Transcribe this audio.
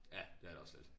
Ja det er det også lidt